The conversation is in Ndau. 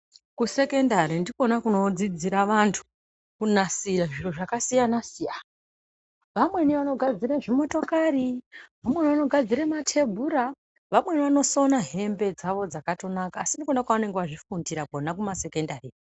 Kusekendari ndikona kunodzidzira vantu kunasira zviro zvakasiyana-siyana. Vamweni vanogadzire zvimotokari, vamweni vanogadzira matebhura, vamweni vanosona hembe dzakatonaka, asi ndikona kwavanenge vazvifundira kwona kumasekondari iyo.